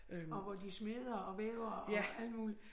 Og hvor de smeder og væver og alt muligt